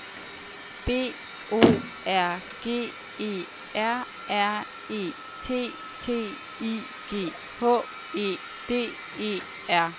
B O R G E R R E T T I G H E D E R